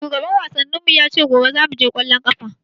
Shugaban wasannin mu ya ce gobe zamu je ƙwallon ƙafa.